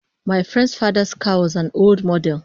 My friend's father's car was an old model